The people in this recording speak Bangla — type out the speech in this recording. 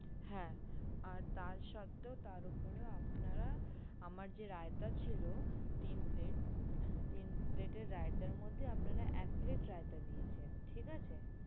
হ্যাঁ আর তা সত্ত্বেও তার উপরে আপনারা আমার যে রায়তা ছিল তিন plate তিন plate এর রায়তার মধ্যে আপনারা এক plate রায়তা দিয়েছেন ঠিক আছে?